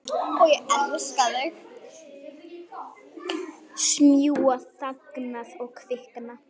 Smjúga þangað og kvikna.